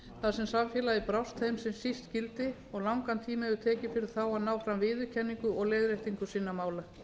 þar sem samfélagið brást þeim sem síst skyldi og langan tíma hefur tekið fyrir þá að ná fram viðurkenningu og leiðréttingu sinna mála